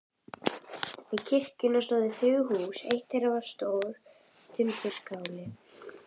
Við kirkjuna stóðu þrjú hús, eitt þeirra stór timburskáli.